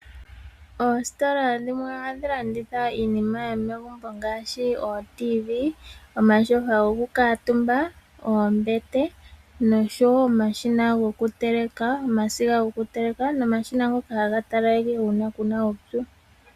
Oositola dhimwe ohadhi landitha iinima yomegumbo ngaashi ooTV, omatyofa gokukamutumba, oombete noshowo omasiga goku teleka nomashina ngoka haga talaleke uuna ku na uupyu.